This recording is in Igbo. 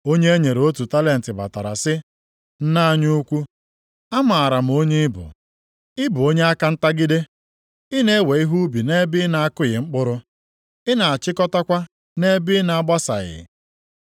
“Onye e nyere otu talenti batara sị, ‘Nna anyị ukwu, amaara m onye ị bụ. Ị bụ onye aka ntagide. Ị na-ewe ihe ubi nʼebe ị na-akụghị mkpụrụ. Ị na-achịkọtakwa nʼebe ị na-agbasaghị.